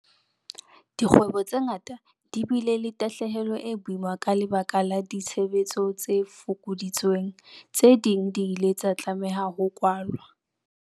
Dikgwebo tse ngata di bile le tahlehelo e boima ka lebaka la ditshebetso tse fokoditsweng. Tse ding di ile tsa tlameha ho kwalwa.